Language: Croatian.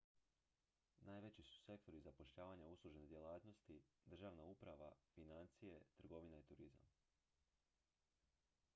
najveći su sektori zapošljavanja uslužne djelatnosti državna uprava financije trgovina i turizam